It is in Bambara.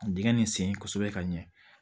Dingɛn nin sen kosɛbɛ ka ɲɛ